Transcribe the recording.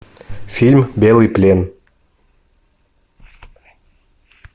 фильм белый плен